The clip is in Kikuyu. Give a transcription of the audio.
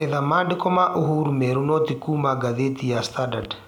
etha maandĩko ma uhuru meeru no ti kũũma gathetĩ ya standard